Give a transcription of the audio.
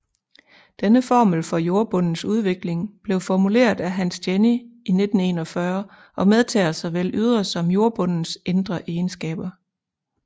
Denne formel for jordbundens udvikling blev formuleret af Hans Jenny i 1941 og medtager såvel ydre som jordbundens indre egenskaber